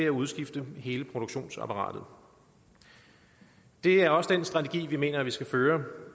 at udskifte hele produktionsapparatet det er også den strategi vi mener vi skal føre